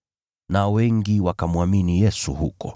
Nao wengi wakamwamini Yesu huko.